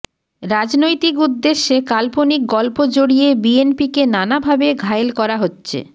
রাজনৈতিক উদ্দেশ্যে কাল্পনিক গল্প জড়িয়ে বিএনপিকে নানাভাবে ঘায়েল করা হচ্ছে